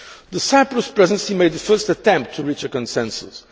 The Cyprus Presidency made the first attempt to reach a consensus.